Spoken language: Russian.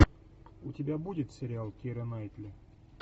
у тебя будет сериал кира найтли